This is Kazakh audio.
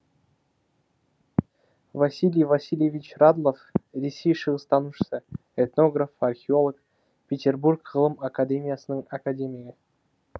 василий васильевич радлов ресей шығыстанушысы этнограф археолог петербург ғылым академиясының академигі